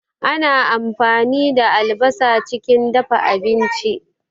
Ana ampani da albasa chikin dafa abinchi